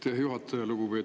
Aitäh, juhataja!